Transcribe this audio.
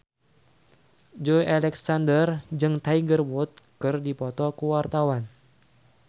Joey Alexander jeung Tiger Wood keur dipoto ku wartawan